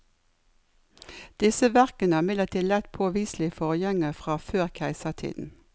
Disse verkene har imidlertid lett påviselige forgjengere fra før keisertiden.